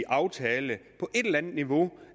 aftale på et eller andet niveau